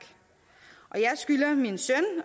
og jeg skylder min søn